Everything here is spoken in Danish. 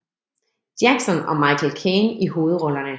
Jackson og Michael Caine i hovedrollerne